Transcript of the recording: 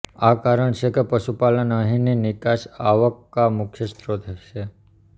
આ કારણ છે કે પશુપાલન અહીં ની નિકાસઆવક કા મુખ્ય સ્રોત છે